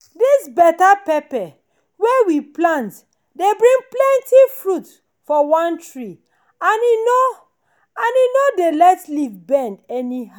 this better pepper wey we plant dey bring plenty fruit for one tree and e no and e no dey let leaf bend anyhow.